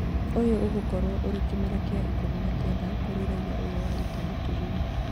Ũyũ ũgũkorwo ũrĩ kĩmera gĩa ikũmi na kenda kũrĩ raiya ũyũ wa Italy Turin